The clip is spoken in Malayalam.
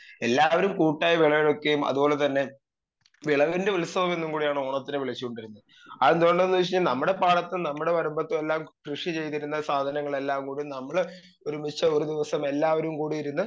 സ്പീക്കർ 2 എല്ലാവരും കൂട്ടായി വിളവെടുക്കുകയും അത് പോലെ തന്നെ വിളവിൻ്റെ ഉത്സവം എന്നും കൂടിയാണ് ഓണത്തിനെ വിളിച്ചോണ്ടിരുന്നെ ആഎന്ത് കൊണ്ടാന്ന് വെച്ച നമ്മടെ പാടത്ത് നമ്മടെ വരമ്പത്ത് എല്ലാം കൃഷി ചെയ്തിരുന്ന സാധങ്ങളെല്ലാം കൂടി ഞമ്മള് ഒരുമിച്ച് ഒരു ദിവസം എല്ലാരും കൂടി ഇരുന്ന്